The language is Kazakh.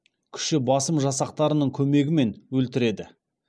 күші басым жасақтарының көмегімен өлтіреді